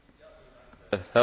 Herr Präsident!